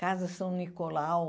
Casa São Nicolau.